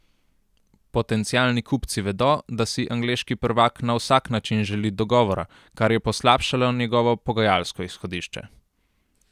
Potencialni kupci vedo, da si angleški prvak na vsak način želi dogovora, kar je poslabšalo njegovo pogajalsko izhodišče.